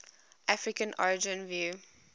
african origin view